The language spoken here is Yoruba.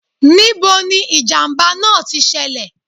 Ní bo ni ìjàmbá náà ti ṣẹlẹ̀